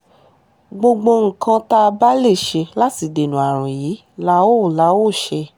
gbogbo nǹkan tá a bá lè ṣe láti dènà àrùn yìí la óò la óò ṣe